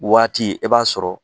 Waati i b'a sɔrɔ